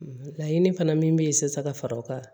Laɲini fana min bɛ yen sisan ka fara o kan